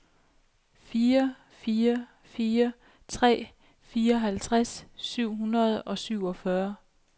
fire fire fire tre fireoghalvtreds syv hundrede og syvogfyrre